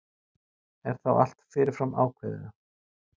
Er þá allt fyrirfram ákveðið?